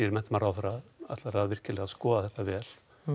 menntamálaráðherra vilji skoða þetta vel